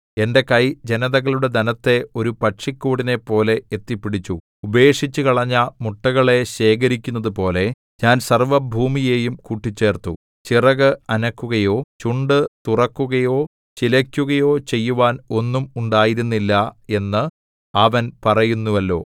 എന്റെ കൈ ജനതകളുടെ ധനത്തെ ഒരു പക്ഷിക്കൂടിനെപ്പോലെ എത്തിപ്പിടിച്ചു ഉപേക്ഷിച്ചുകളഞ്ഞ മുട്ടകളെ ശേഖരിക്കുന്നതുപോലെ ഞാൻ സർവ്വഭൂമിയെയും കൂട്ടിച്ചേർത്തു ചിറക് അനക്കുകയോ ചുണ്ടു തുറക്കുകയോ ചിലയ്ക്കുകയോ ചെയ്യുവാൻ ഒന്നും ഉണ്ടായിരുന്നില്ല എന്ന് അവൻ പറയുന്നുവല്ലോ